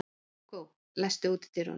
Hugó, læstu útidyrunum.